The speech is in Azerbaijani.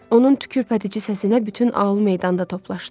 Onun tükürpədici səsinə bütün aul meydanda toplaşdı.